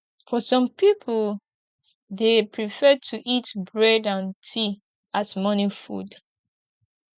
for some pipo dem prefer to eat bread and tea as morning food